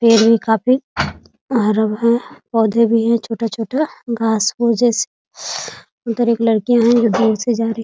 पेड़ भी काफी हरा हैं पौधे भी हैं छोटा-छोटा घास-फूस जैसी अंदर एक लड़कियाँ हैं जो दूर से जा रही --